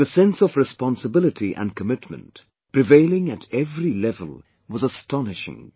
The sense of responsibility & commitment, prevailing at every level was astonishing